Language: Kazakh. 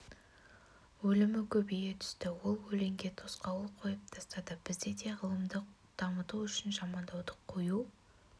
өлімі көбейе түсті ол өлеңге тосқауыл қойып тастады бізде де ғылымды дамыту үшін жамандауды қою